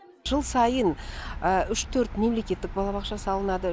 жыл сайын үш төрт мемлекеттік балабақша салынады